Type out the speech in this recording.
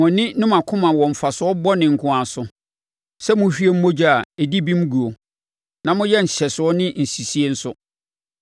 “Mo ani ne mo akoma wɔ mfasoɔ bɔne nko ara so, sɛ mohwie mogya a ɛdi bem guo na moyɛ nhyɛsoɔ ne nsisie nso.”